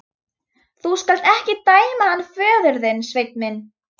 Þú skalt ekki dæma hann föður þinn, Sveinn minn.